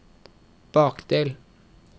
bakdel